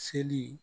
Seli